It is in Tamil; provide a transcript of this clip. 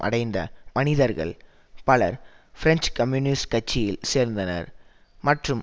அடைந்த மனிதர்கள் பலர் பிரெஞ்சு கம்யூனிஸ்ட் கட்சியில் சேர்ந்தனர் மற்றும்